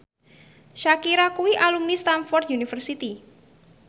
Shakira kuwi alumni Stamford University